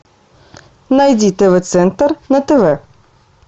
найди тв центр на тв